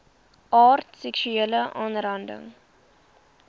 aard seksuele aanranding